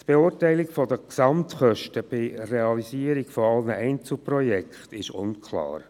Die Beurteilung der Gesamtkosten bei Realisierung aller Einzelprojekte ist unklar.